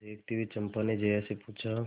देखती हुई चंपा ने जया से पूछा